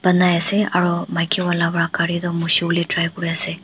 nai ase aro maki wala pa gari tu mushiwolae try kuriase.